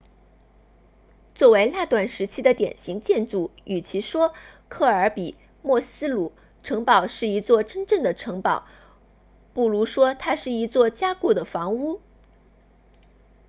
作为那段时期的典型建筑与其说克尔比墨斯鲁 muxloe 城堡是一座真正的城堡不如说它是一座加固的房屋